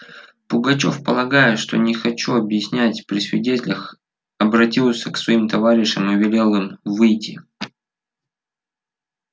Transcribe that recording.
пугачёв полагая что я не хочу объяснять при свидетелях обратился к своим товарищам и велел им выйти